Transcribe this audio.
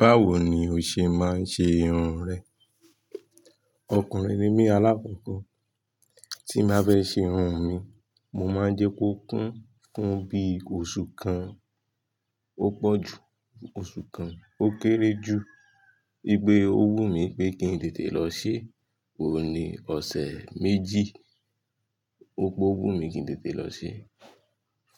Báwo ni o ṣe máa ń ṣe irun rẹ? Ọkùnrin ni mí alákókò. Tí máa bá fe ṣe irun mi, mo máa ń jẹ́ kó kún, kún bí oṣù kan, ó pọ̀ ju oṣù kan, ó kéré ju. Gbigbe owú mi pé kí n tètè lọ ṣe, òní ọ̀sẹ̀ méjì, ò owú mi kí n tètè lọ ṣe.